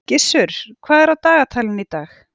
Gissur, hvað er á dagatalinu í dag?